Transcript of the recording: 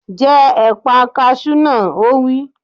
Jẹ ẹ̀pà kasú náà! Ó wí.